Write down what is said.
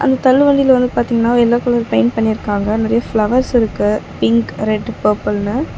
இந்த தள்ளு வண்டில வந்து பாத்தீங்கனா எல்லோ கலர் பெயிண்ட் பண்ணிருக்காங்க நெறையா ஃப்ளவர்ஸ் இருக்கு பிங்க் ரெட் பர்பிள்னு .